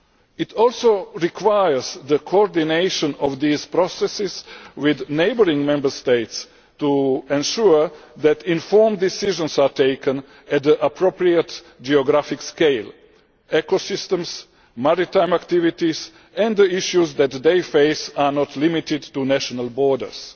It also requires the coordination of these processes with neighbouring Member States, to ensure that informed decisions are taken on the appropriate geographic scale ecosystems, maritime activities and the issues that they face are not limited to national borders.